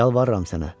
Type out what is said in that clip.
Yalvarıram sənə.